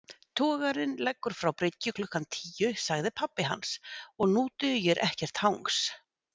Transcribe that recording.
Togarinn leggur frá bryggju klukkan tíu sagði pabbi hans, og nú dugir ekkert hangs